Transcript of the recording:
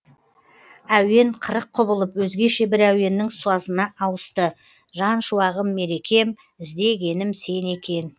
әуен қырық құбылып өзгеше бір әуеннің сазына ауысты жан шуағым мерекем іздегенім сен екен